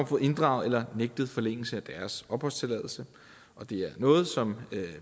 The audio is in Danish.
fået inddraget eller nægtet forlængelse af deres opholdstilladelse det er noget som